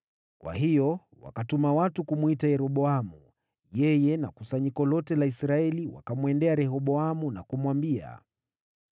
Kwa hiyo wakatuma watu kumwita Yeroboamu, yeye na kusanyiko lote la Israeli wakamwendea Rehoboamu na kumwambia,